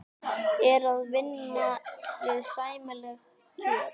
Er það að vinna við sæmileg kjör?